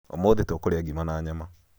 ũmũthĩ tũkũrĩa ngima na nyama